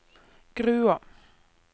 Grua